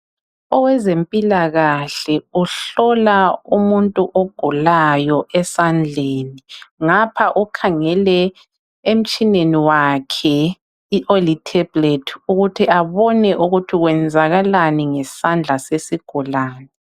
Owezempilakahle ohlola umuntu ogulayo esandleni ngapha ukhangele emtshineni wakhe oli tablet ukuthi abone ukuthi kwenzakalani ngesandla sesigulani.